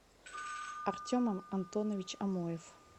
артем антонович амоев